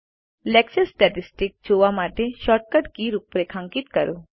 lecture statistics જોવા માટે shortcut key રૂપરેખાંકિત કરો